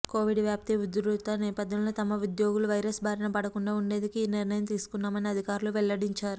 Covid వ్యాప్తి ఉధృత నేపథ్యంలో తమ ఉద్యోగులు వైరస్ బారినపడకుండా ఉండేందుకే ఈ నిర్ణయం తీసుకున్నామని అధికారులు వెల్లడించారు